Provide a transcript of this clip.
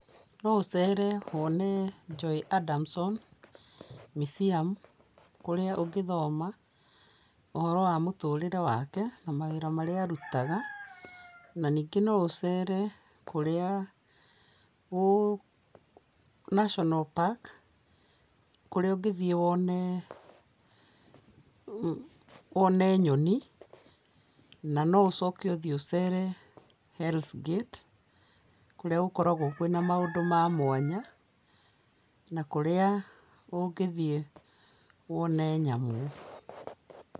No ũcere wone Joy Adamsom Museum kũrĩa ũngĩthoma ũhoro wa mũtũrĩre wake na mawĩra marĩa arutaga na no ũcere kũrĩa, National park kũrĩa ũngĩthiĩ wone nyoni na ũcoke ũthiĩ ũcere Hells Gate kũrĩa gũkoragwo na maũndũ ma mwanya na kũrĩa ũngĩthiĩ wone nyamũ.